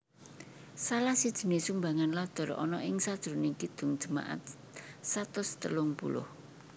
Salah sijine sumbangan Luther ana ing sajrone Kidung Jemaat satus telung puluh